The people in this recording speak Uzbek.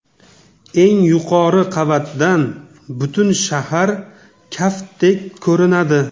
Eng yuqori qavatdan butun shahar kaftdek ko‘rinadi.